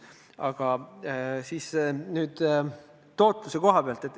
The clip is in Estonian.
Aga nüüd tootlusest.